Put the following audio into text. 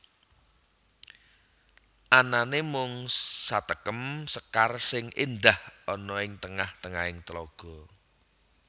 Anane mung satekem sekar sing endah ana ing tengah tengahing telaga